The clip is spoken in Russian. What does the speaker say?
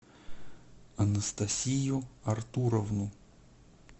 анастасию артуровну